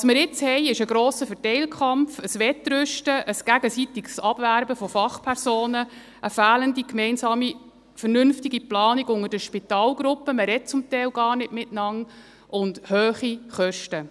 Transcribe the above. Was wir jetzt haben, ist ein grosser Verteilkampf, ein Wettrüsten, ein gegenseitiges Abwerben von Fachpersonen, eine fehlende gemeinsame vernünftige Planung unter den Spitalgruppen – man spricht zum Teil gar nicht miteinander – und hohe Kosten.